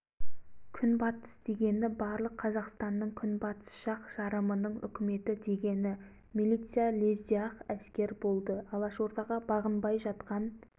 сонан соң бұлар жымпитыға қайтты жымпитыда досмұқамбетұлдары алашорда үкіметін жасап дүрілдетіп іске кірісті үкіметтерін күнбатыс алашорда